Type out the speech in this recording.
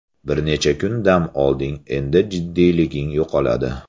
Bir necha kun dam olding, endi jiddiyliging yo‘qoladi.